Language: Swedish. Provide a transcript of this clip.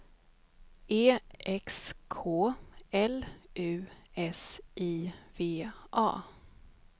E X K L U S I V A